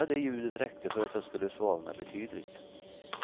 Bara det ljudet räckte för att jag skulle svalna betydligt.